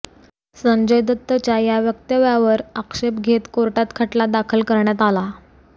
संजय दत्तच्या या वक्तव्यावर आक्षेप घेत कोर्टात खटला दाखल करण्यात आला